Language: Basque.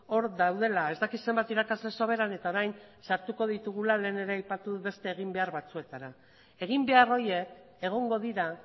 hor daudela ez daki zenbat irakasle soberan eta orain sartuko ditugula lehen ere aipatu dut beste eginbehar batzuetara eginbehar horiek egongo dira